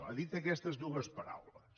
ha dit aquestes dues paraules